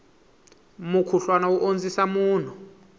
mukhuhlwana wu ondzisa munhu